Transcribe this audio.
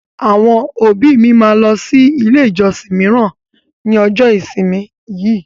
Àwọn òbí mi máa lọ sí ilé ìjọsìn míràn ní ọjọ́ ìsinmi yìí.